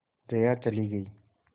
जया चली गई